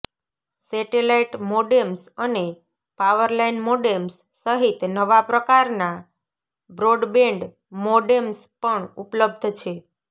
satellite modems અને power line modems સહિત નવા પ્રકારનાં બ્રોડબેન્ડ મોડેમ્સ પણ ઉપલબ્ધ છે